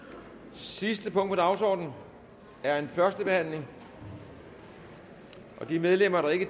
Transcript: sidste punkt på dagsordenen er en førstebehandling og de medlemmer der ikke